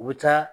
U bɛ taa